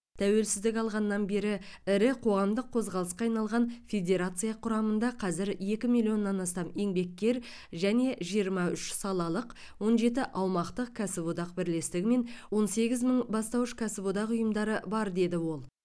тәуелсіздік алғаннан бері ірі қоғамдық қозғалысқа айналған федерация құрамында қазір екі миллионнан астам еңбеккер және жиырма үш салалық он жеті аумақтық кәсіподақ бірлестігі мен он сегіз мың бастауыш кәсіподақ ұйымдары бар деді ол